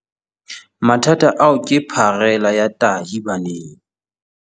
Mathata ao ke pharela ya tahi baneng.